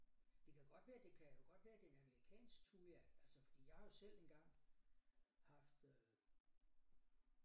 Det kan godt være det kan jo godt være det er en amerikansk thuja fordi jeg har jo selv engang haft øh